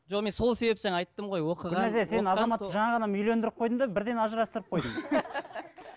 жоқ мен сол себептен айтып тұрмын ғой гүлнәзия сен азаматты жаңа ғана үйлендіріп қойдың да бірден ажырастырып қойдың